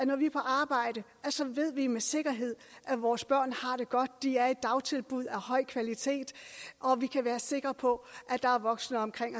når vi er på arbejde ved vi med sikkerhed at vores børn har det godt at de er i dagtilbud af høj kvalitet og at vi kan være sikre på at der er voksne omkring